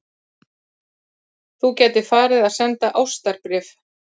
Þú gætir farið að senda ástarbréf.